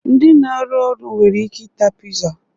Ndị na-arụ ọrụ nwere ike ịta oiza